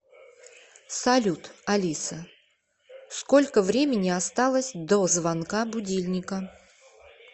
салют алиса сколько времени осталось до звонка будильника